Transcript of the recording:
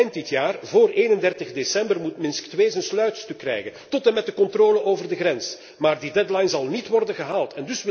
Eind dit jaar, voor 31 december, moet Minsk II zijn sluitstuk krijgen, tot en met de controle over de grens. Maar die deadline zal niet worden gehaald.